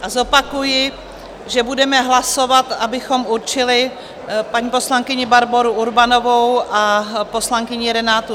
A zopakuji, že budeme hlasovat, abychom určili paní poslankyni Barboru Urbanovou a poslankyni Renátu